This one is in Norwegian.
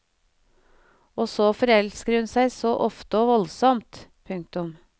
Og så forelsker hun seg så ofte og voldsomt. punktum